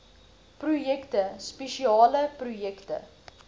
projekte spesiale projekte